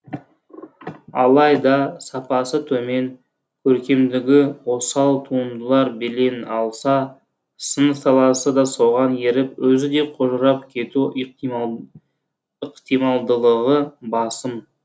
алайда сапасы төмен көркемдігі осал туындылар белең алса сын саласы да соған еріп өзі де қожырап кету ықтималдылығы басым